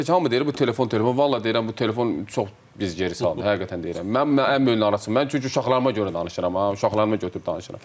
Hamı deyir ki, bu telefon-telefon, vallah deyirəm, bu telefon çox bizi geri salır, həqiqətən deyirəm, mənim ən böyük narazılığım, çünki uşaqlarıma görə danışıram ha, uşaqlarıma götürüb danışıram.